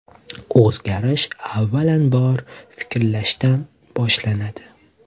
O‘zgarish, avvalambor, fikrlashimizdan boshlanadi.